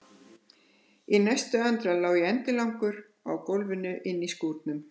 Í næstu andrá lá ég endilangur á gólfinu inni í skúrnum!